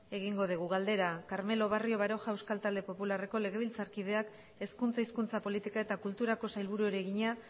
egingo dugu gai zerrendako hogeigarren puntua galdera carmelo barrio baroja euskal talde popularreko legebiltzarkideak hezkuntza hizkuntza politika eta kulturako sailburuari egina